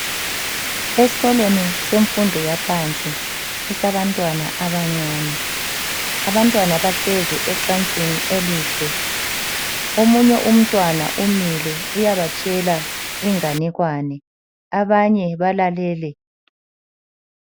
Esikolweni semfundo yaphansi esabantwana abancane. Abantwana bahlezi ecansini elihle omunye umntwana umile uyabatshela inganekwane abanye balalele.